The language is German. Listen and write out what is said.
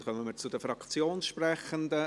Damit kommen wir zu den Fraktionssprechenden.